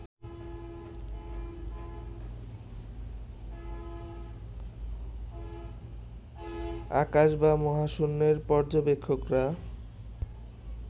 আকাশ বা মহাশূন্যের পর্যবেক্ষকরা